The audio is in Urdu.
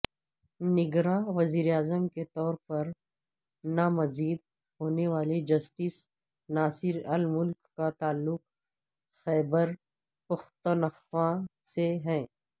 نگراں وزیراعظم کے طور پرنامزد ہونے والے جسٹس ناصر الملک کا تعلق خیبرپختونخوا سے ہے